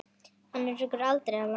Hana rekur aldrei að landi.